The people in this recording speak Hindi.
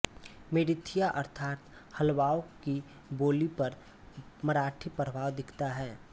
मरेथियाँ अर्थात् हल्बाओं की बोली पर मराठी प्रभाव दिखता है